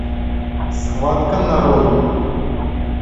схватка нарой